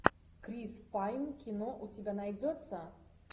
крис пайн кино у тебя найдется